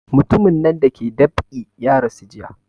Mutumin nan da ke dab'i ya rasu jiya